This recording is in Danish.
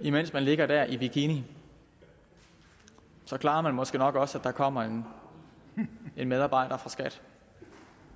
imens man ligger der i bikini så klarer man måske nok også at der kommer en medarbejder fra skat